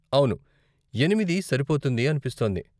అవును, ఎనిమిది సరిపోతుంది అనిపిస్తోంది.